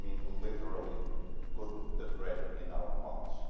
And I mean literally put the bread in our mouths.